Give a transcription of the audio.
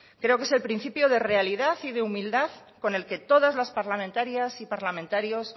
creo que es el principio de realidad y de humildad con el que todas las parlamentarias y parlamentarios